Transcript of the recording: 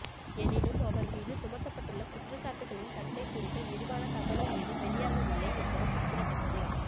எனினும் அவர் மீது சுமத்தப்பட்டுள்ள குற்றச்சாட்டுகளின் தன்மை குறித்த விரிவான தகவல் ஏதும் வெளியாகவில்லை என்பது குறிப்பிடத்தக்கது